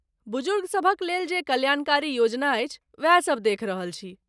बुजुर्ग सभक लेल जे कल्याणकारी योजना अछि वएह सभ देख रहल छी।